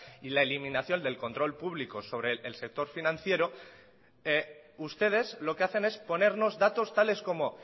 y la eliminación del control público sobre el sector financiero ustedes lo que hacen es ponernos datos tales como